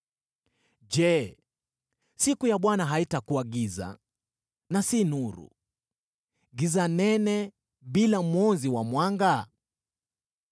Je, siku ya Bwana haitakuwa giza, na si nuru: giza nene, bila mwonzi wa mwanga?